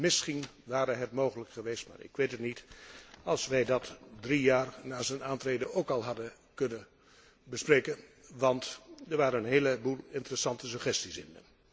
Misschien ware het mogelijk geweest ik weet het niet als wij deze drie jaar na zijn aantreden al hadden kunnen bespreken, want er waren een heleboel interessante suggesties bij.